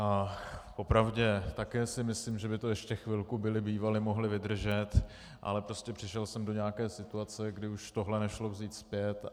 Po pravdě, také si myslím, že by to ještě chvilku byli bývali mohli vydržet, ale prostě přišel jsem do nějaké situace, kdy už tohle nešlo vzít zpět.